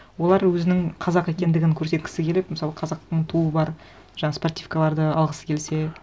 олар өзінің қазақ екендігін көрсеткісі келіп мысалы қазақтың туы бар жаңа спортивкаларды алғысы келсе